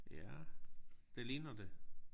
Ja det ligner det